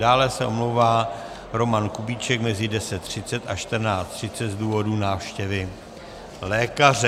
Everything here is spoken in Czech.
Dále se omlouvá Roman Kubíček mezi 10.30 a 14.30 z důvodu návštěvy lékaře.